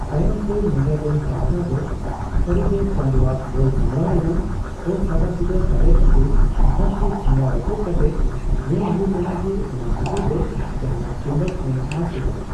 ᱛᱟᱭᱚᱢᱛᱮ, ᱱᱮᱫᱟᱨᱞᱮᱱᱰ ᱯᱟᱦᱴᱟ ᱫᱚ ᱥᱟᱹᱨᱤᱜᱮ ᱪᱟᱸᱫᱽ ᱟᱜ ᱵᱚᱞ ᱥᱟᱢᱲᱟᱣ ᱨᱮᱱᱟᱜ ᱚᱥᱟᱫᱟᱥᱤᱫᱟᱹ ᱫᱟᱲᱮ ᱠᱷᱟᱹᱛᱤᱨ ᱦᱚᱠᱤ ᱴᱷᱮᱸᱜᱟ ᱨᱟᱹᱯᱩᱫ ᱠᱟᱛᱮ ᱧᱮᱞ ᱦᱩᱭ ᱞᱮᱱᱟ ᱡᱮ, ᱚᱱᱟ ᱵᱷᱤᱛᱤᱨ ᱨᱮ ᱡᱟᱦᱱᱟ ᱪᱩᱢᱵᱚᱠ ᱢᱮᱱᱟᱜᱼᱟ ᱥᱮ ᱵᱟᱝ ᱾